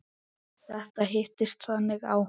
Þetta hittist þannig á.